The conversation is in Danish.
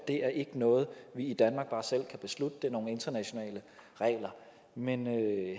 noget vi i danmark bare selv kan beslutte at det er nogle internationale regler men